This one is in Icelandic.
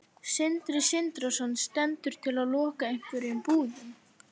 Sindri Sindrason: Stendur til að loka einhverjum búðum?